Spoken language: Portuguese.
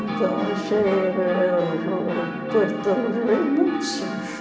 Então achei oo Porto do Rio muito sujo.